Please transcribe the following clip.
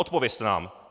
Odpovězte nám!